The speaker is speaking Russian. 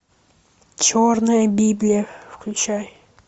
черная библия включай